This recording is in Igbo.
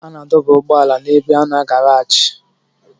A na-adọba ụgbọala n'ebe a na garaajị.